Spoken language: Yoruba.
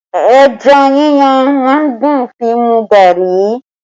Ẹja yíyan má ń dùn fi mu gari